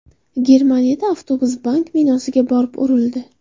Germaniyada avtobus bank binosiga borib urildi.